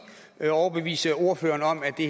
at overbevise ordføreren om at det